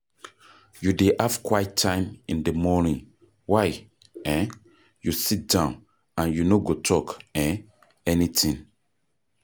You dey have quiet time in di morning wey um you sit down and you no go talk um any thing?